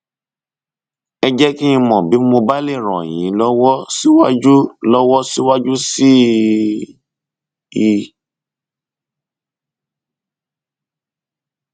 ẹ jẹ kí n mọ bí mo bá lè ràn yín lọwọ síwájú lọwọ síwájú sí i